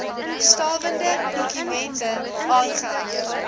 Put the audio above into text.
stawende dokumente aangeheg